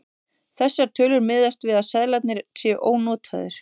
Þessar tölur miðast við að seðlarnir séu ónotaðir.